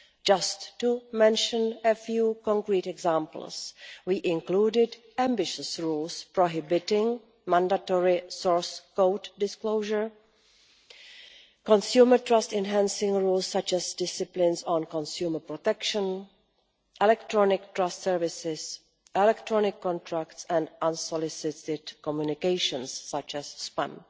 Just to mention a few concrete examples we included ambitious rules prohibiting mandatory source code disclosure, consumer trust enhancing rules such as disciplines on consumer protection, electronic trust services, electronic contracts and unsolicited communications such as spam.